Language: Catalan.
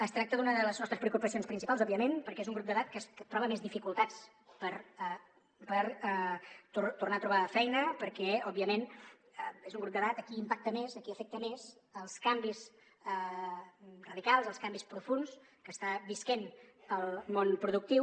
es tracta d’una de les nostres preocupacions principals òbviament perquè és un grup d’edat que troba més dificultats per tornar a trobar feina perquè òbviament és un grup d’edat a qui impacten més a qui afecten més els canvis radicals els canvis profunds que està vivint el món productiu